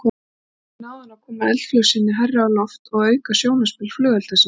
Þannig náði hann að koma eldflaug sinni hærra á loft og auka sjónarspil flugelda sinna.